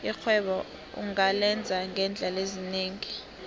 irhwebo ungalenza ngeendlela ezinengi